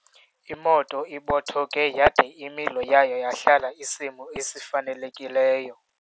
Imoto ibothoke yade imilo yayo yalahla isimo esifanelekileyo.